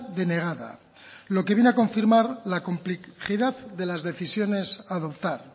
denegada lo que viene a confirmar la complejidad de las decisiones a adoptar